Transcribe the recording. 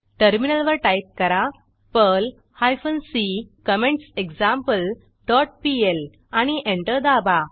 टर्मिनलवर टाईप करा Perl hyphen C comments example dot PL आणि एंटर दाबा